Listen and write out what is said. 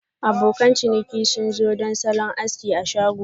Abokan ciniki sun zo don salon aski a shago.